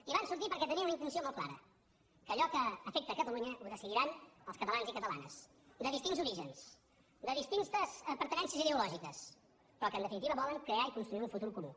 i hi van sortir perquè tenien una intenció molt clara que allò que afecta catalunya ho decidiran els catalans i catalanes de distints orígens de distintes pertinences ideològiques però que en definitiva volen crear i construir un futur comú